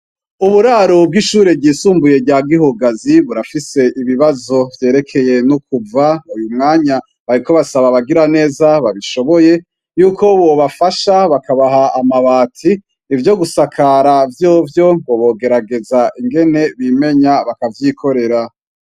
Uburaro bw'ishuri ryisumbuye rya gihugazi burafise ibibazo vyerekeye n'ukuva uyu mwanya bariko basaba bagira neza babishoboye yuko bobafasha bakabaha amabati ivyo gusakara vyovyo ngo bogerageza ingene bimenya bakavyikorera.